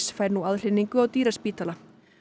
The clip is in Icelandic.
fær nú aðhlynningu á dýraspítala